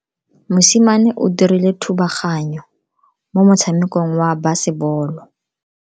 Mosimane o dirile thubaganyo mo motshamekong wa basebolo.